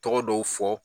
Tɔgɔ dɔw fɔ